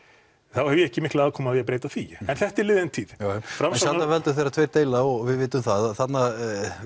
þá hef ég ekki mikla aðkomu að því að breyta því en þetta er liðin tíð sjaldan veldur þegar tveir deila og við vitum það að þarna